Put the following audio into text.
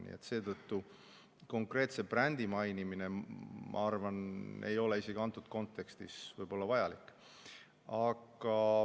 Nii et seetõttu konkreetse brändi mainimine, ma arvan, ei ole isegi antud kontekstis võib‑olla vajalik.